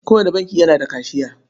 Kowane banki yana da kashiya.